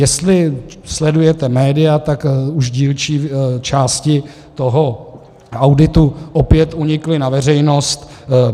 Jestli sledujete média, tak už dílčí části toho auditu opět unikly na veřejnost.